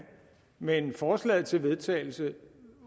men forslaget til vedtagelse